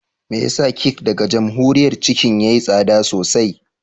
Me yasa kek daga Jamhuriyar Chicken yayi tsada sosai?